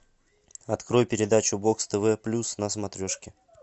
открой передачу бокс тв плюс на смотрешке